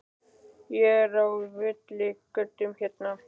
Er ég á villigötum hérna?